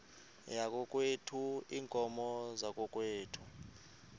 yakokwethu iinkomo zakokwethu